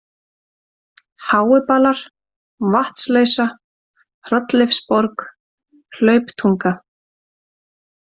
Háubalar, Vatnsleysa, Hrolleifsborg, Hlauptunga